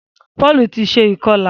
Paul tí ṣe ikọla.